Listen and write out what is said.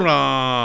Urra!